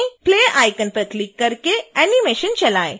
play icon पर click करके animation चलाएँ